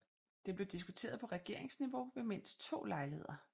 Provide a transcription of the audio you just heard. Det blev diskuteret på regeringsniveau ved mindst to lejligheder